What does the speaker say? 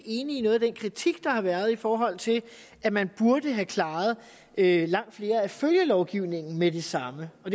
enig i noget af den kritik der har været i forhold til at man burde have klaret langt mere af følgelovgivningen med det samme og